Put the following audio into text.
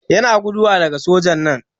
Yana guduwa daga soja'n nan.